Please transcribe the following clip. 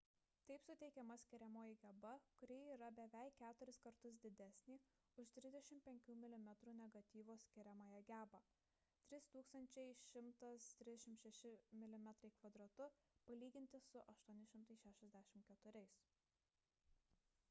taip suteikiama skiriamoji geba kuri yra beveik keturis kartus didesnė už 35 mm negatyvo skiriamąją gebą 3136 mm2 palyginti su 864